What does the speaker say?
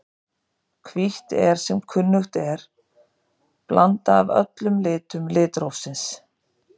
Hvítt er sem kunnugt er blanda af öllum litum litrófsins.